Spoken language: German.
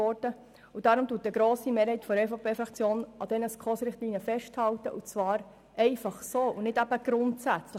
Deshalb hält eine grosse Mehrheit der EVP-Fraktion an den SKOS-Richtlinien fest und zwar einfach so, eben nicht grundsätzlich.